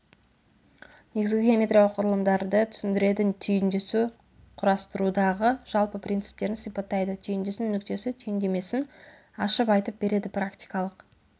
негізгі геометриялық құрылымдарды түсіндіреді түйіндесу құрастырудағы жалпы принциптерін сипаттайды түйіндесу нүктесі түсініктемесін ашып айтып береді практикалық